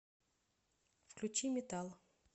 включи метал